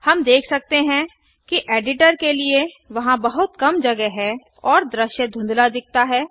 हम देख सकते हैं कि एडिटर के लिए वहाँ बहुत कम जगह है और दृश्य धुंधला दिखता है